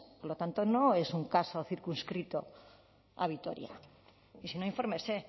por lo tanto no es un caso circunscrito a vitoria y si no infórmese